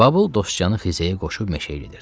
Babıl Dostcanı xizəyə qoşub meşəyə gedirdi.